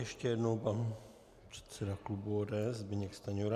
Ještě jednou pan předseda klubu ODS Zbyněk Stanjura.